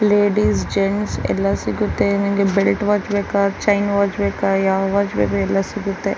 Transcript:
Ladies gents ಎಲ್ಲಾ ಸಿಗುತ್ತೆ ನಿಮಗೆ ಬೆಲ್ಟ್ ವಾಚ್ ಬೇಕಾ ಚೈನ್ ವಾಚ್ ಬೇಕಾ ಯಾವ ವಾಚ್ ಬೇಕು ಎಲ್ಲ ಸಿಗುತ್ತೆ.